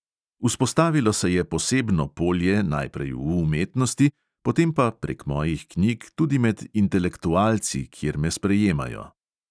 Vzpostavilo se je posebno polje, najprej v umetnosti, potem pa, prek mojih knjig, tudi med intelektualci, kjer me sprejemajo.